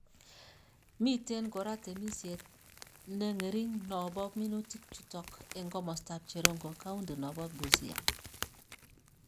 miten kora temisiet ne ng'ering no bo minutik chutok eng' komostap cherongo kaundi no bo Busia